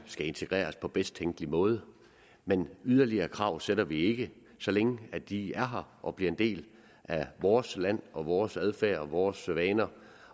skal integreres på bedst tænkelige måde men yderligere krav stiller vi ikke så længe de er her og bliver en del af vores land og vores adfærd og vores vaner